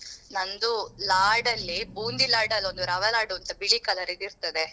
ನಂದು laddu ಲ್ಲಿ bundi laddu ಲ್ಲ ಒಂದು rava laddu ಅಂತ ಬಿಳಿ colour ರಿದ್ದು ಇರ್ತದೆ.